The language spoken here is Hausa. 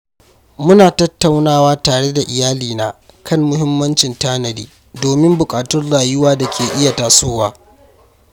Muna tattaunawa tare da iyalina kan muhimmancin tanadi domin buƙatun rayuwa da ke iya tasowa.